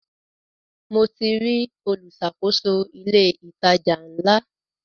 Mo ti rí olùṣàkóso ilé ìtajà ńlá.